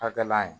Hakɛla ye